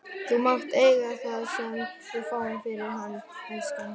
Þú mátt eiga það sem við fáum fyrir hann, elskan.